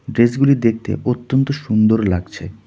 ড্রেসগুলি দেখতে অত্যন্ত সুন্দর লাগছে.